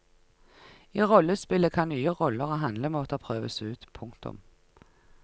I rollespillet kan nye roller og handlemåter prøves ut. punktum